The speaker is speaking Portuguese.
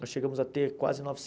Nós chegamos a ter quase